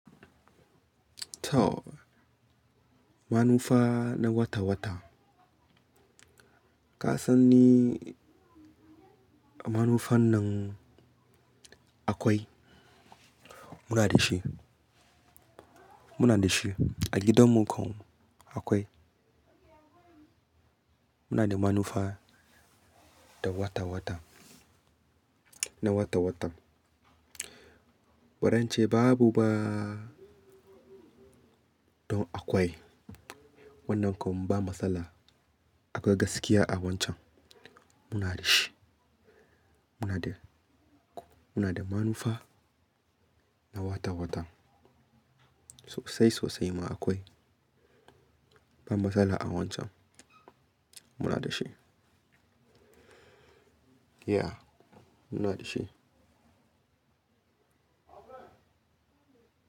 To! Manufa na wata wata. Ka san ni, manufan nan akwai. Muna da shi. Muna da shi a gidanmu kam akwai. Muna da manufa ta wata wata, na wata watan. Wadance babu ba don akwai. Wannan kam ba matsala akwai gaskiya a wancan. Muna da shi. Muna da, muna da manufa na wata wata. Sosai sosai ma akwai. Ba matsala a wancan. Muna da shi. Yeah, muna da shi.